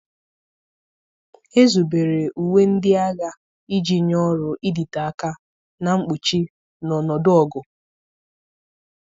Ezubere uwe ndị agha iji nye ọrụ, ịdịte aka, na mkpuchi n'ọnọdụ ọgụ